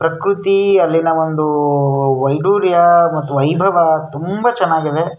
ಪ್ರಕ್ರತಿ ಅಲ್ಲಿನ ಒಂದು ವೈಡೂರ್ಯ ಮತ್ತು ವೈಭವ ತುಂಬಾ ಚೆನ್ನಾಗಿ ಇದೆ.